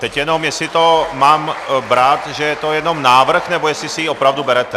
Teď jenom jestli to mám brát, že je to jenom návrh, nebo jestli si ji opravdu berete.